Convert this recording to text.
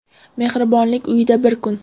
Mehribonlik uyida bir kun.